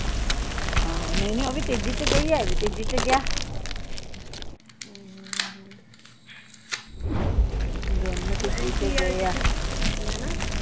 ਹਾਂ ਨਹੀਂ ਨਹੀਂ ਓਵੀ ਤੀਜੀ ਚ ਗਈ ਆ ਐਵੀ ਤੀਜੀ ਚ ਗਿਆ